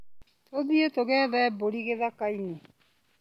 Tũthiĩ tũgethe mbũri gĩthakainĩ.